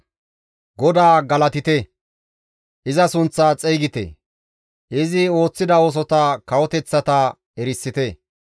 GODAA galatite; iza sunththa xeygite; izi ooththida oosota kawoteththata erisite.